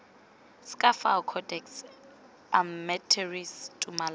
sk fao codex almentarius tumalano